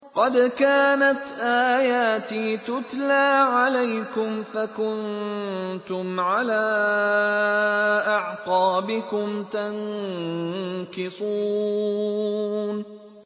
قَدْ كَانَتْ آيَاتِي تُتْلَىٰ عَلَيْكُمْ فَكُنتُمْ عَلَىٰ أَعْقَابِكُمْ تَنكِصُونَ